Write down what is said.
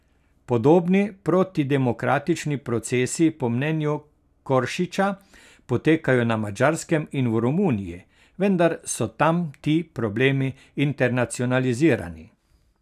Podobni protidemokratični procesi po mnenju Koršiča potekajo na Madžarskem in v Romuniji, vendar so tam ti problemi internacionalizirani.